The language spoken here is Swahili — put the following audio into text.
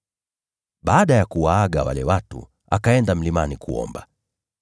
Baada ya kuwaaga wale watu, akaenda mlimani kuomba.